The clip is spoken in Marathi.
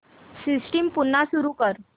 सिस्टम पुन्हा सुरू कर